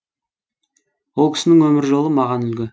ол кісінің өмір жолы маған үлгі